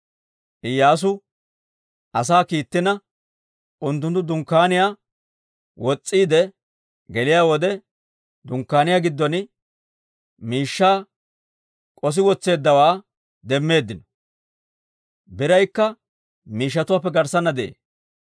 Iyyaasu asaa kiittina, unttunttu dunkkaaniyaa wos's'iide geliyaa wode, dunkkaaniyaa giddon miishshaa k'ossi wotseeddawaa demmeeddino; biraykka miishshatuwaappe garssana de'ee.